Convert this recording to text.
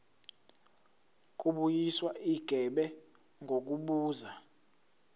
kubuyiswa igebe ngokubuza